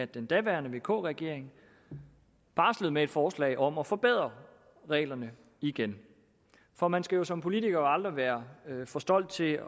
den daværende vk regering barslede med et forslag om at forbedre reglerne igen for man skal jo som politiker aldrig være for stolt til